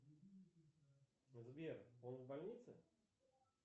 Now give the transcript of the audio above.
сбер он в больнице